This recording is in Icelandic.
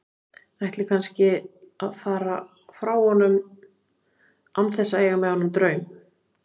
Ætli kannski að fara frá honum án þess að eiga með honum draum.